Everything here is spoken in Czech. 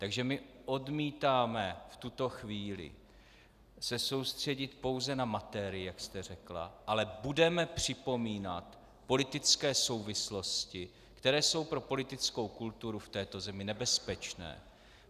Takže my odmítáme v tuto chvíli se soustředit pouze na materii, jak jste řekla, ale budeme připomínat politické souvislosti, které jsou pro politickou kulturu v této věci nebezpečné.